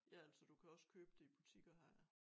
Ja altså du kan også købe det i butikker her ja